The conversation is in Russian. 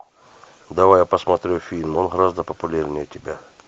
давай я посмотрю фильм он гораздо популярнее тебя